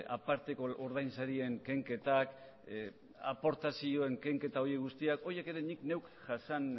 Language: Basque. aparteko ordainsarien kenketak aportazioen kenketa horiek guztiak horiek ere nik neuk ere jaso